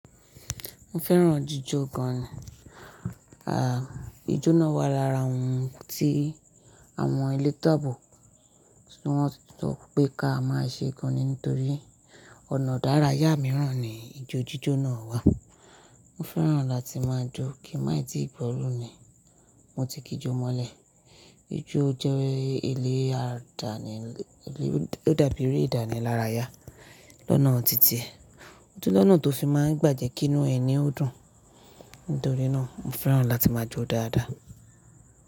Mo fẹ́ràn jíjọ gan. À, ijó náà wà lára ohun tí àwọn ẹlẹ́tọ́ abo, tí wọ́n ti sọ pé ká máa ṣe gan ni nítorí ọ̀nà idárayá mìíràn ni ijó jíjọ náà wà. Mo fẹ́ràn láti máa jó kí mà i ti gbọ̀lú ni mo ti kí jó mọ́lẹ̀. Ijó jẹ́ ilé àdáni, ó dàbí eré ìdánilárayá lọ́nà títí, otún lọ́nà tó fi máa ń gbà jẹ́ kí inú ẹni ó dùn. Nítorí náà, mo fẹ́ràn láti máa jó dáadáa.